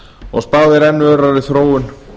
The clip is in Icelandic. og spáð er enn örari þróun